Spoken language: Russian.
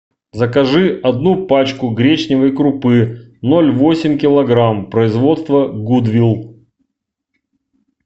закажи одну пачку гречневой крупы ноль восемь килограмм производства гудвил